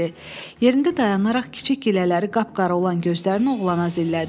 Yerində dayanaraq kiçik gilələri qapqara olan gözlərini oğlana zillədi.